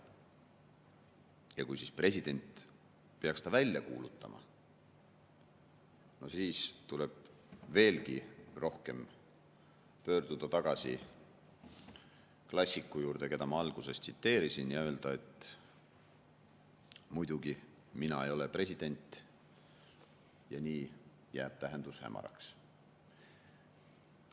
Ja kui siis president peaks selle välja kuulutama, no siis tuleb veelgi rohkem pöörduda tagasi klassiku juurde, keda ma alguses tsiteerisin, ja öelda, et muidugi, mina ei ole president ja nii jääb tähendus hämaraks.